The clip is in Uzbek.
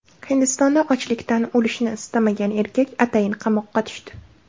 Hindistonda ochlikdan o‘lishni istamagan erkak atayin qamoqqa tushdi .